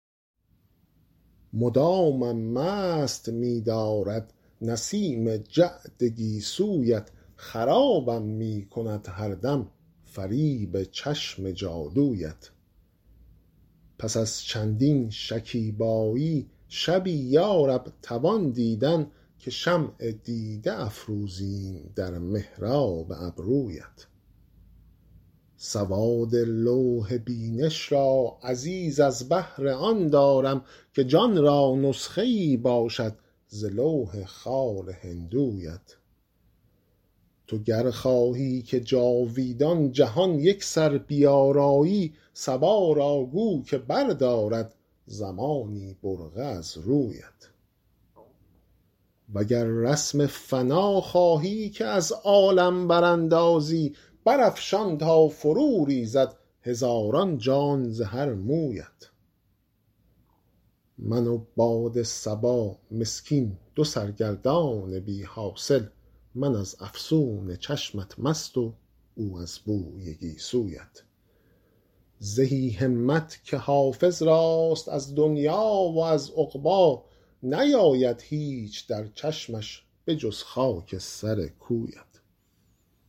مدامم مست می دارد نسیم جعد گیسویت خرابم می کند هر دم فریب چشم جادویت پس از چندین شکیبایی شبی یا رب توان دیدن که شمع دیده افروزیم در محراب ابرویت سواد لوح بینش را عزیز از بهر آن دارم که جان را نسخه ای باشد ز لوح خال هندویت تو گر خواهی که جاویدان جهان یکسر بیارایی صبا را گو که بردارد زمانی برقع از رویت و گر رسم فنا خواهی که از عالم براندازی برافشان تا فروریزد هزاران جان ز هر مویت من و باد صبا مسکین دو سرگردان بی حاصل من از افسون چشمت مست و او از بوی گیسویت زهی همت که حافظ راست از دنیی و از عقبی نیاید هیچ در چشمش به جز خاک سر کویت